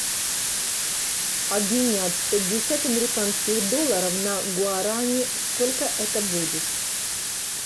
обменять пятьдесят американских долларов на гуарани сколько это будет